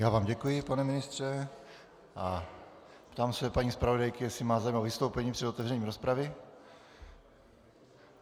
Já vám děkuji, pane ministře, a ptám se paní zpravodajky, jestli má zájem o vystoupení před otevřením rozpravy.